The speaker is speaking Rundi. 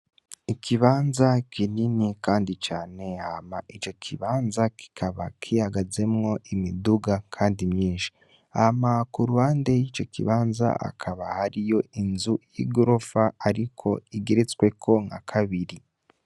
Ikibanza kinini, kandi cane hama ico kibanza kikaba kihagazemwo imiduga, kandi myinshi amaka urwande y'ico kibanza akaba hariyo inzu y'i gorofa, ariko igeretsweko nka kabiri.